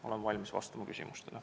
Olen valmis vastama küsimustele.